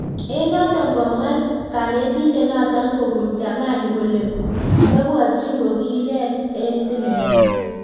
Eng notok, komwa kanetindet notok kobun jamani kole mebwatyin kokilel eng tilet nyiin